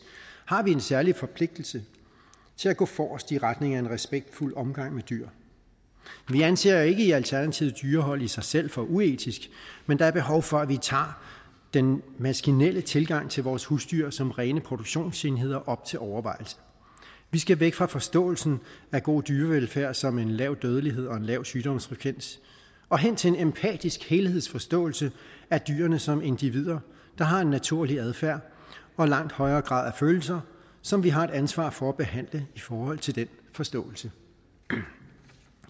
har vi en særlig forpligtelse til at gå forrest i retning af en respektfuld omgang med dyr vi anser ikke i alternativet dyrehold i sig selv for uetisk men der er behov for at vi tager den maskinelle tilgang til vores husdyr som rene produktionsenheder op til overvejelse vi skal væk fra forståelsen af god dyrevelfærd som en lav dødelighed og en lav sygdomsfrekvens og hen til en empatisk helhedsforståelse af dyrene som individer der har en naturlig adfærd og langt højere grad af følelser som vi har et ansvar for at behandle i forhold til den forståelse